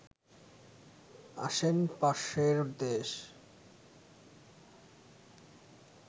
আসেন পাশের দেশ